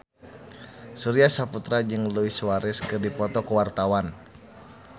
Surya Saputra jeung Luis Suarez keur dipoto ku wartawan